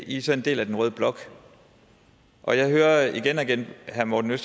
i så en del af den røde blok og jeg hører igen og igen herre morten